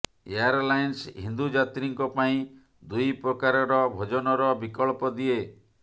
airlines Hindu ଯାତ୍ରୀଙ୍କ ପାଇଁ ଦୁଇ ପ୍ରକାରର ଭୋଜନର ବିକଳ୍ପ ଦିଏ